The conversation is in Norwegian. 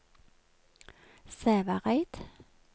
Sævareid